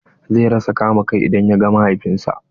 Zai rasa kama kai idan ya ga mahaifin sa.